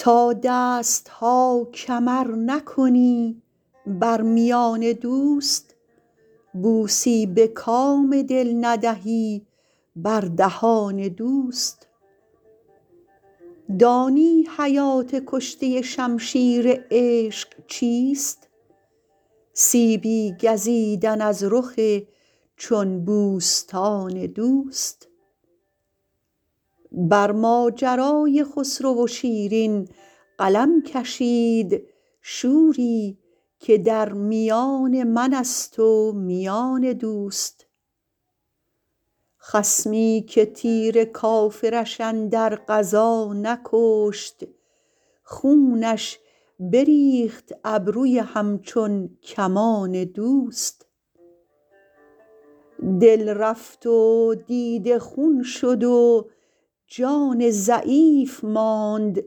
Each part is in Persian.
تا دست ها کمر نکنی بر میان دوست بوسی به کام دل ندهی بر دهان دوست دانی حیات کشته شمشیر عشق چیست سیبی گزیدن از رخ چون بوستان دوست بر ماجرای خسرو و شیرین قلم کشید شوری که در میان من است و میان دوست خصمی که تیر کافرش اندر غزا نکشت خونش بریخت ابروی همچون کمان دوست دل رفت و دیده خون شد و جان ضعیف ماند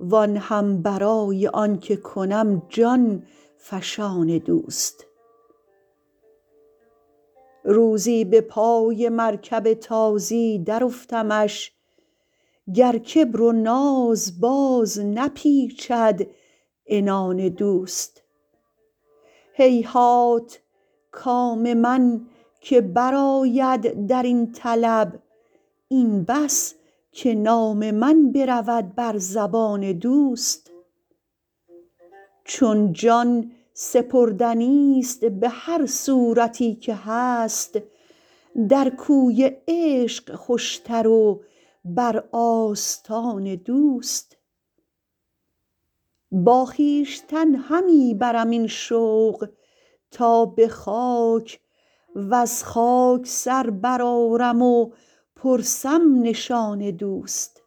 وآن هم برای آن که کنم جان فشان دوست روزی به پای مرکب تازی درافتمش گر کبر و ناز باز نپیچد عنان دوست هیهات کام من که برآید در این طلب این بس که نام من برود بر زبان دوست چون جان سپردنیست به هر صورتی که هست در کوی عشق خوشتر و بر آستان دوست با خویشتن همی برم این شوق تا به خاک وز خاک سر برآرم و پرسم نشان دوست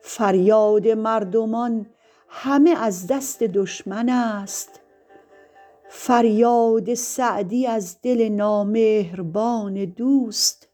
فریاد مردمان همه از دست دشمن است فریاد سعدی از دل نامهربان دوست